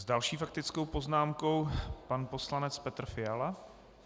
S další faktickou poznámkou pan poslanec Petr Fiala.